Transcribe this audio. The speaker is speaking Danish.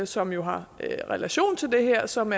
som jo har relation til det her og som